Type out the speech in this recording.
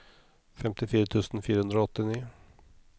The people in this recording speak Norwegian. femtifire tusen fire hundre og åttini